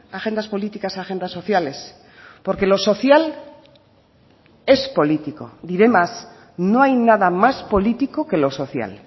agendas políticas a agendas sociales porque lo social es político diré más no hay nada más político que lo social